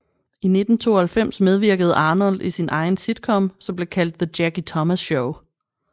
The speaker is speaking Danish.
I 1992 medvirkede Arnold i sin egen sitcom som blev kaldt The Jackie Thomas Show